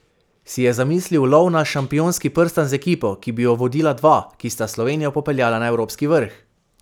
Si je zamislil lov na šampionski prstan z ekipo, ki bi jo vodila dva, ki sta Slovenijo popeljala na evropski vrh?